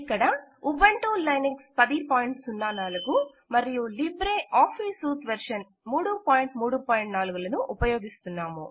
ఇక్కడ Ubuntu Linux 1004 మరియు LibreOffice suite version 334 లను ఉపయోగిస్తున్నాము